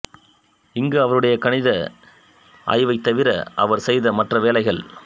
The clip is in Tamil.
இங்கு அவருடைய கணித ஆய்வைத்தவிர அவர் செய்த மற்ற வேலைகள்